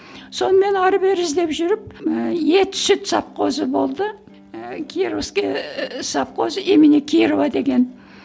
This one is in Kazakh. сонымен ары бері іздеп жүріп ы ет сүт совхозы болды ы кировский совхоз имени кирова деген